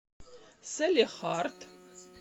салехард